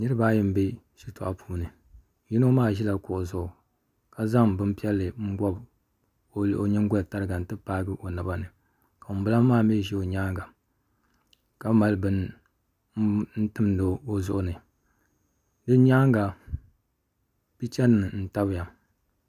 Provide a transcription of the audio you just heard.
Niraba ayi n bɛ shitoɣu puuni yino maa ʒila kuɣu zuɣu ka zaŋ bin piɛlli n bobi o nyingoli tariga n ti paagi o naba ni ka ŋunbala maa mii ʒɛ o nyaanga ka mali bini n timdi o zuɣu ni bi nyaanga picha nim n tabiya